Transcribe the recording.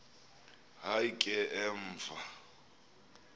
hayi ke emva